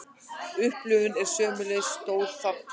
Upplifunin er sömuleiðis stór þáttur.